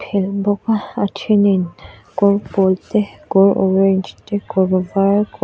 phelh bawk a a thenin kawr pawl te kawr orange te kawr var kawr--